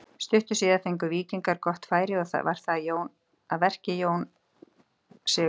Stuttu síðar fengu Víkingar gott færi og þar var að verki Arnar Jón Sigurgeirsson.